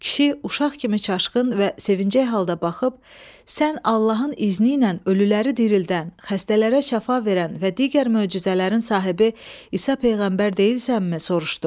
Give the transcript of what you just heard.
Kişi uşaq kimi çaşqın və sevinclik halda baxıb, sən Allahın izni ilə ölüləri dirildən, xəstələrə şəfa verən və digər möcüzələrin sahibi İsa peyğəmbər deyilsənmi?